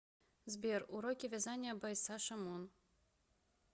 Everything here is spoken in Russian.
сбер уроки вязания бай саша мун